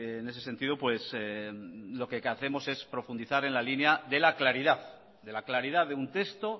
en ese sentido pues lo que hacemos es profundizar en la línea de la claridad de un texto